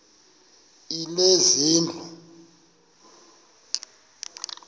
lezezindlu